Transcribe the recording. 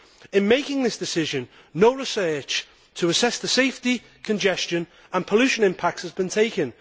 In making this decision, no research to assess the safety, congestion and pollution impact has been taken.